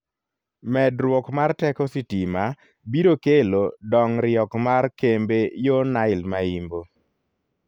Medruok mar teko sitima biro kelo dong'riok mar kembe yo Nile ma Yimbo.